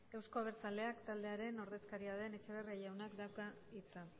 euzko abertzaleak taldearen ordezkaria den etxeberria jaunak dauka hitza